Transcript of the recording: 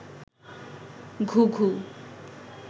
ঘুঘু